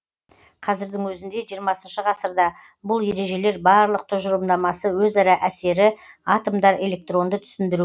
қазірдің өзінде жиырмасыншы ғасырда бұл ережелер барлық тұжырымдамасы өзара әсері атомдар электронды түсіндіру